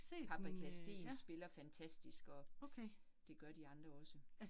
Paprika Steen spiller fantastisk og, det gør de andre også